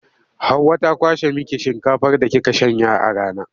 Hauwa ta kwashe miki shinkafar da kika shanya a rana.